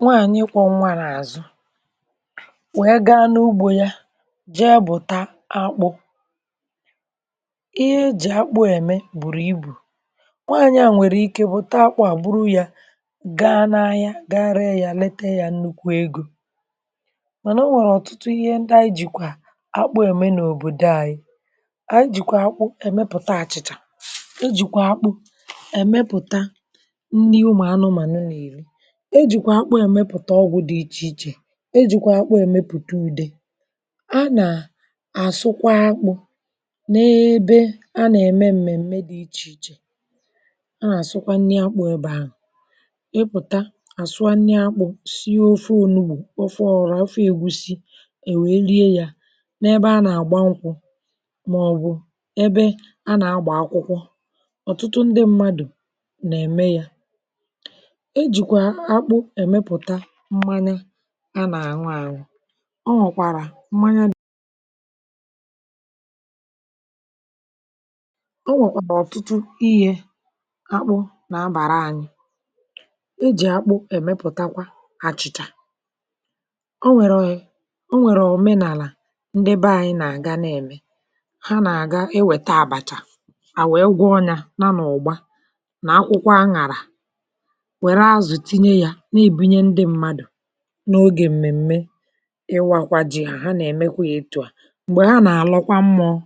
Nwaànyị kwọ̀ nwa n’àzụ, nwẹ, gaa n’ugbȯ ya ji, e bù ta akpụ. Ihe ji akpụ ème bụ̀rù ibù nwaànyị à nwèrè ike, bụ̀ taakpụ à gburu ya, gaa n’ahịa, ga-ree ya, leta ya nnukwu egȯ. Mànà o nwèrè ọ̀tụtụ ihe ndị anyị jìkwà akpụ ème n’òbòdo anyị̇.Ànyị̇ jìkwà akpụ èmepụ̀ta àchịchà; ejìkwà akpụ èmepụ̀ta nni̇ ụmụ̀ anụmànụ nà ìri̇; e jìkwa akpụ èmepụ̀ta ọgwụ̇ dị ichè ichè; e jìkwa akpụ èmepụ̀ta ùde. A nà-àsụkwa akpụ n’ebe a nà-ème m̀mè, m̀mè dị̇ ichè ichè. A nà-àsụkwa nni̇ akpụ ebė ahụ̀; ịpụ̀ta àsụkwa nni̇ akpụ̇ sị ofe onúgbù, ofe ọrụ, afụfụ, egwùsị, è wèe rie yȧ n’ebe a nà-àgba ṅkwụ̇, màọ̀bụ̀ ebe a nà-agbà akwụkwọ. Ọ̀tụtụ ndị mmadụ̀ nà-ème yȧ. Mmanị a nà-àṅụ àṅụ, o nwọ̀kwàrà mmanya dị̇; o nwèkpòlò ọ̀tụtụ ihe akpụ nà-abàra anyị̇. E jì akpụ èmepụ̀takwa àchịchà. um O nwèrè òmenàlà, ndebe anyị nà-àga, nà-ème; hà nà-àga ewèta àbàchà à wụ̀, ịgụọ anyȧ, na nọ̀ ụ̀gba nà akwụkwọ, aṅụ̀ àrà. N’ogè m̀mèm̀me, ịwakwȧ ji, hà nà-èmekwa yȧ, ịtụ̇ à.M̀gbè hà nà-àlọkwa mmụ̇ọ̇,